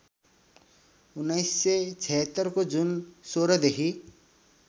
१९७६ को जुन १६ देखि